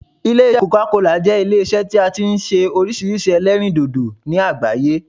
Ilé isẹ́ coca cola jẹ́ Ilé isẹ́ tí a ti n se orísirísi ẹlẹ́rìndòdò ní àgbáyé